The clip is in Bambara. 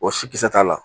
O si kisɛ t'a la